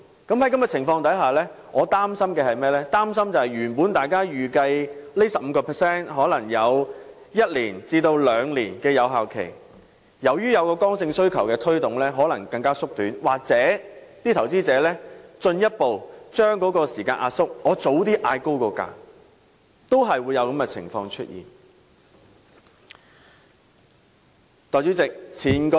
在這種情況下，我擔心本來預計這 15% 新稅率的有效時間會維持一兩年，但在剛性需求的推動下，有效時間可能會更短，又或是投資者進一步把時間壓縮，例如提早調高賣價，在在都會導致出現上述情況。